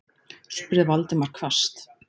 spurði Valdimar hvasst.